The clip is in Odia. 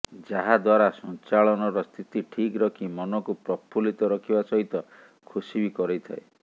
ଯାହା ଦ୍ବାରା ସଂଚାଳନର ସ୍ଥିତି ଠିକ ରଖି ମନକୁ ପ୍ରଫୁଲ୍ଲିତ ରଖିବା ସହିତ ଖୁସି ବି କରେଇଥାଏ